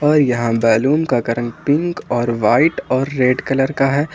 और यहां बैलून का रंग व्हाइट पिंक और रेड कलर का है।